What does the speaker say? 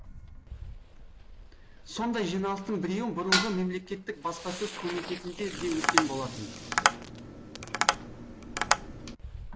сондай жиналыстың біреуі бұрынғы мемлекеттік баспасөз комитетінде де өткен болатын